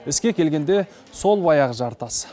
іске келгенде сол баяғы жартас